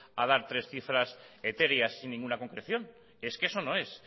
a dar tres cifras etéreas sin ninguna concreción es que eso no es